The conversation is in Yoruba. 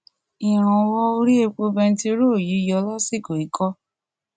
ìrànwọ orí epo bẹntiróòlù yíyọ lásìkò yìí kọ